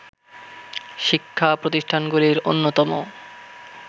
শিক্ষা প্রতিষ্ঠানগুলির অন্যতম